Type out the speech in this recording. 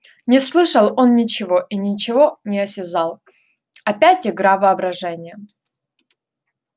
не слышал он ничего и ничего не осязал опять игра воображения